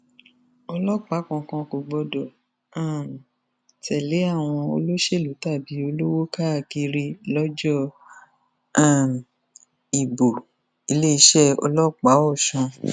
ọlọpàá kankan kò gbọdọ um tẹlé àwọn olóṣèlú tàbí olówó káàkiri lọjọ um ìbòiléeṣẹ ọlọpàá ọsùn